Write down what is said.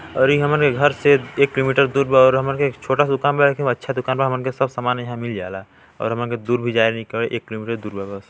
और ये हमरे घर से एक किलोमीटर दूर बा और हमन के छोटा दुकान बा लेकिन ओ अच्छा दुकान बा हमन के सब सामान यहाँ मिल जाए ला और हमन का दूर भी जाए नी का एक किलोमीटर बा--